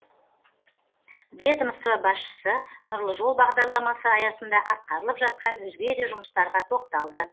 ведомство басшысы нұрлы жол бағдарламасы аясында атқарылып жатқан өзге де жұмыстарға тоқталды